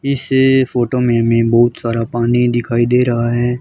इस फोटो में हमें बहुत सारा पानी दिखाई दे रहा है।